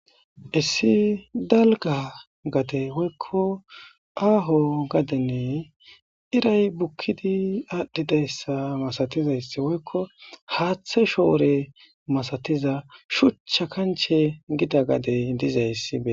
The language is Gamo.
Issi dalga gade woykko aaho gadenne iray bukkidi aadhdhi dayssa masatizayssi woykko haaththe shoore masatiza shucha kanche gida gadey dizayssibe